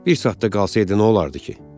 Bir saat da qalsaydı nə olardı ki?